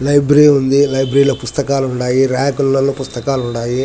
Library ఉంది. Library లో పుస్తకాలు ఉన్నాయి. రాకులలో పుస్తకాలున్నాయి.